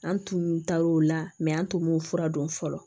An tun taar'o la an tun b'o fura dɔn fɔlɔ